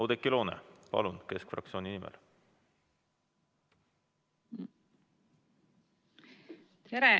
Oudekki Loone, palun, keskfraktsiooni nimel!